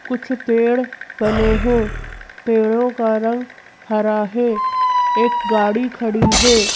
कुछ पेड़ बने हैं पेड़ों का रंग हरा है एक गाड़ी खड़ी है।